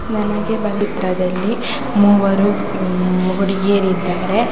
ನನಗೆ ಬಂದಂತ ಚಿತ್ರದಲ್ಲಿ ಮೂವರು ಹುಡುಗಿಯರಿದ್ದಾರೆ.